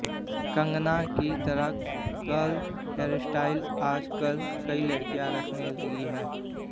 कंगना की तरह curl hairstyle आज कल कई लड़कियां रखने लगी हैं